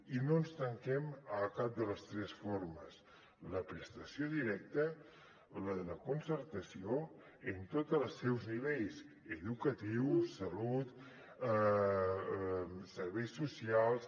i no ens tanquem a cap de les tres formes la prestació directa la de concertació en tots els seus nivells educatiu salut serveis socials